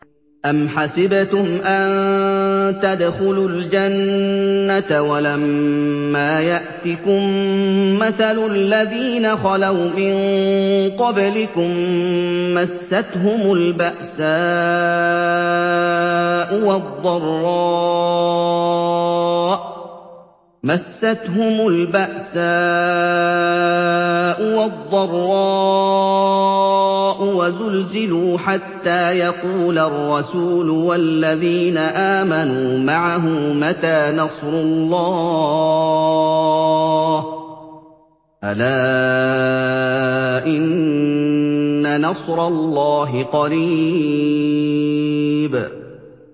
أَمْ حَسِبْتُمْ أَن تَدْخُلُوا الْجَنَّةَ وَلَمَّا يَأْتِكُم مَّثَلُ الَّذِينَ خَلَوْا مِن قَبْلِكُم ۖ مَّسَّتْهُمُ الْبَأْسَاءُ وَالضَّرَّاءُ وَزُلْزِلُوا حَتَّىٰ يَقُولَ الرَّسُولُ وَالَّذِينَ آمَنُوا مَعَهُ مَتَىٰ نَصْرُ اللَّهِ ۗ أَلَا إِنَّ نَصْرَ اللَّهِ قَرِيبٌ